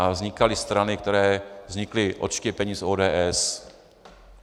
A vznikaly strany, které vznikly odštěpením z ODS.